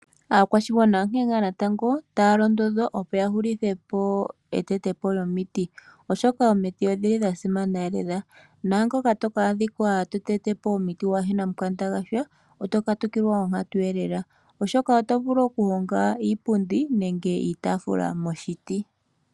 Aakwashigwana onkene natango taya londodhwa opo ya hupithe po e tete po lyomiti, oshoka omiti odhili dhasimana lela, naangoka toka a dhikwa to tete po omiti waana omukanda gwa sha oto katukilwa onkatu lela, oshoka oto vulu oku honga iipundi nenge iitaafula moshiti.